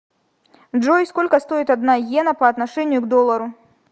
джой сколько стоит одна йена по отношению к доллару